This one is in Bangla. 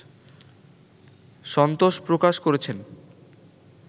সন্তোষ প্রকাশ করেছেন